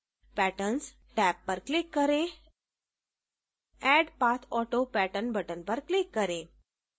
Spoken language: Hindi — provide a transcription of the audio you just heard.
patterns टैब पर click करें add pathauto pattern button पर click करें